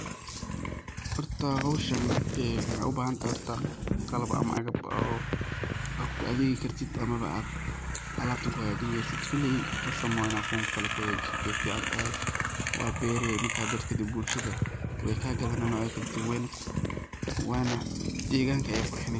Horta howsha waxay u bahan tahay qalab ama cagab aad ku adigi kartid ama alabta aad kuhaga jin kartid. Koley qasab maahan ini kuwan kali kuhagajisid, wey ficantehe waa beree marka berto kadib bulshada wey kagadanayan weyna waana deganka ayey qurxuni.